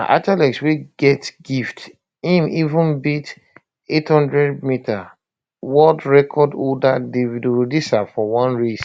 na athlete wey get gift im even beat [800m] world record holder david rudisha for one race